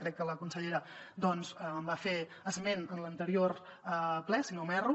crec que la consellera en va fer esment en l’anterior ple si no m’erro